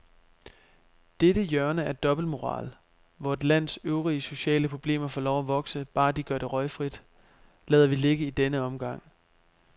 Dette hjørne af dobbeltmoral, hvor et lands øvrige sociale problemer får lov at vokse, bare de gør det røgfrit, lader vi ligge i denne omgang.